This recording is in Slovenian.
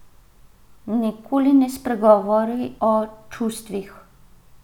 Nikoli ne spregovori o čustvih.